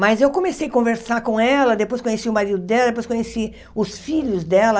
Mas eu comecei a conversar com ela, depois conheci o marido dela, depois conheci os filhos dela.